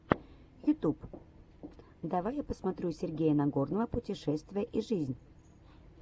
ютюб давай я посмотрю сергея нагорного путешествия и жизнь